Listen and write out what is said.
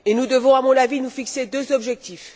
Nous devons, à mon avis, nous fixer deux objectifs.